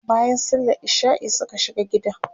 bayan sallan isha'i Suka shiga gidan